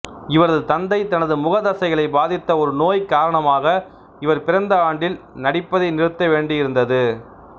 இவரது தந்தை தனது முகத் தசைகளை பாதித்த ஒரு நோய் காரணமாக இவர் பிறந்த ஆண்டில் நடிப்பதை நிறுத்த வேண்டியிருந்தது